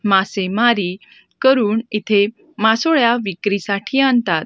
मासेमारी करून इथे मासोळ्या विक्रीसाठी आणतात.